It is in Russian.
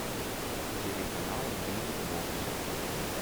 телеканал мьюзик бокс